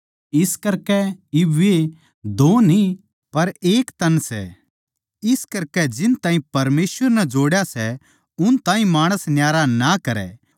इस करकै इब वे दो न्ही पर एक तन सै इस करकै जिस ताहीं परमेसवर नै जोड़या सै उस ताहीं माणस न्यारा ना करै